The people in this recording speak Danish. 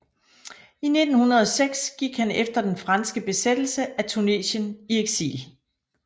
I 1906 gik han efter den franske besættelse af Tunesien i eksil